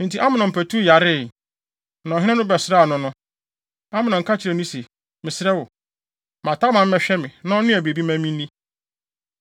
Enti Amnon patuw yaree. Na ɔhene no bɛsraa no no, Amnon ka kyerɛɛ no se, “Mesrɛ wo, ma Tamar mmɛhwɛ me, na ɔnnoa biribi mma minni.”